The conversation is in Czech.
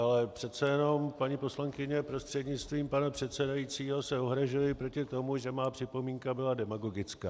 Ale přece jenom, paní poslankyně prostřednictvím pana předsedajícího, se ohrazuji proti tomu, že má připomínka byla demagogická.